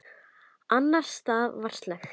Annars staðar var slökkt.